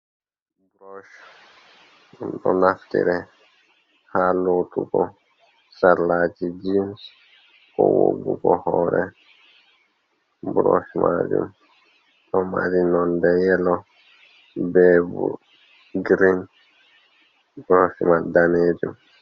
Ɓurosh ɗo naftire ha lotugo sarlaji jins ko woggugo hore. Burosh majum ɗo mari nonde yelo be bo girin, burosh mai danejum.